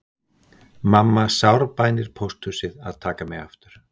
Mamma sárbænir pósthúsið að taka mig aftur